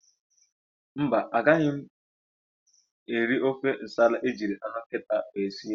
Mba, agaghị m eri ofe nsala ejiri anụ nkịta wee sie.